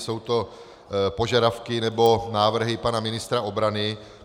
Jsou to požadavky, nebo návrhy pana ministra obrany.